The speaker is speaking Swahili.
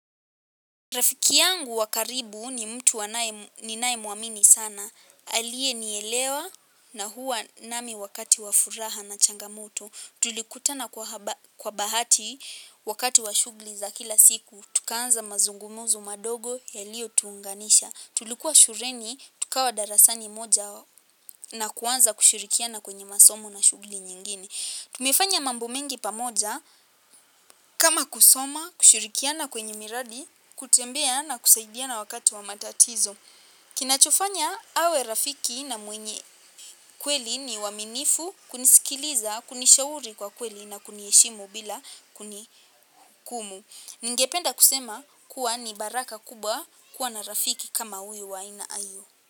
Rafiki yangu wa karibu ni mtu ninae mwamini sana. Aliye nielewa na huwa nami wakati wa furaha na changamoto. Tulikutana kwa bahati wakati wa shugli za kila siku. Tukaanza mazungumuzo madogo yalio tuunganisha. Tulikuwa shureni, tukawa darasani moja na kuanza kushurikiana kwenye masomo na shugli nyingine. Tumefanya mambo mengi pamoja kama kusoma, kushurikiana kwenye miradi, kutembea na kusaidiana wakati wa matatizo. Kinachofanya awe rafiki na mwenye kweli ni uaminifu. Kunisikiliza, kunishauri kwa kweli na kunieshimu bila kunikumu. Ningependa kusema kuwa ni baraka kubwa kuwa na rafiki kama uyu waina ayo.